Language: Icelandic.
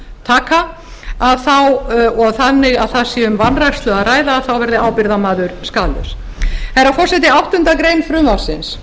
lántaka að þá og þannig að það sé um vanrækslu að ræða þá verði ábyrgðarmaður skaðlaus herra forseti áttundu greinar frumvarpsins